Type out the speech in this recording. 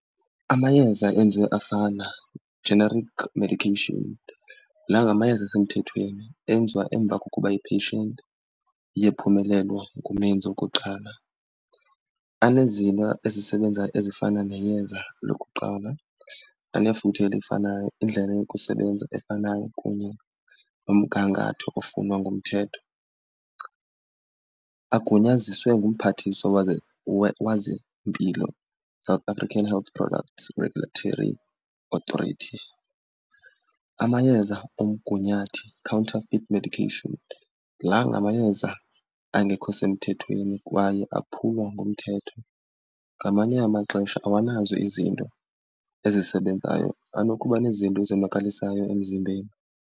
Amayeza enziwe afana, generic medication, la ngamayeza asemthethweni enziwa emva kokuba i-patient iye phumelelwa ngumenzi wokuqala. Anezinto ezisebenza ezifana neyeza lokuqala, anefuthe elifanayo, indlela yokusebenza efanayo kunye nomgangatho ofunwa ngumthetho. Agunyaziswe ngumphathiswa wezempilo, South African Health Product Regulatory Authority. Amayeza omgunyathi, counterfit medication, la ngamayeza angekho semthethweni kwaye aphula umthetho. Ngamanye amaxesha awanazo izinto ezisebenzayo, anokuba nezinto ezonakalisayo emzimbeni.